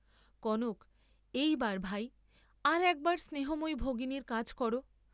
কনক, এইবার ভাই, আর একবার স্নেহময়ী ভগিনীর কাজ কর।